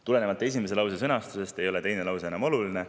Tulenevalt esimese lause sõnastusest ei ole teine lause enam oluline.